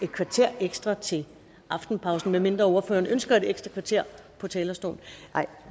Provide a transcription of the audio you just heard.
et kvarter ekstra til aftenpausen medmindre ordføreren ønsker et ekstra kvarter på talerstolen nej